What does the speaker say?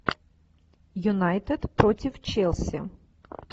юнайтед против челси